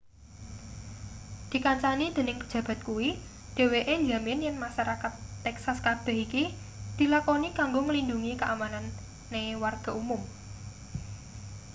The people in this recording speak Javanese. dikancani dening pejabat kuwi dheweke njamin yen masarakat texas kabeh iki dilakoni kanggo nglindhungi kaamanane warga umum